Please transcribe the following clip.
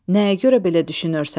Nəyə görə belə düşünürsən?